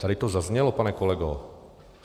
Tady to zaznělo, pane kolego.